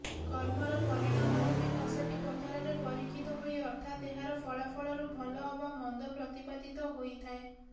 କର୍ମର ପରିଣାମରୂପୀ କଷଟି ପଥରରେ ପରୀକ୍ଷିତ ହୋଇ ଅର୍ଥାତ ଏହାର ଫଳାଫଳରୁ ଭଲ ଅବା ମନ୍ଦ ପ୍ରତିପାଦିତ ହୋଇଥାଏ